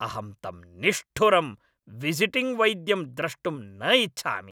अहं तम् निष्ठुरं, विसिटिंग् वैद्यं द्रष्टुं न इच्छामि।